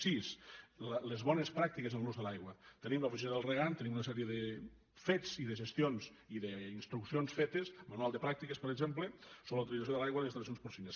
sis les bones pràctiques en l’ús de l’aigua tenim l’oficina del regant tenim una sèrie de fets i de gestions i d’instruccions fetes manual de pràctiques per exemple sobre la utilització de l’aigua en installacions porcines